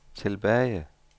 tilbage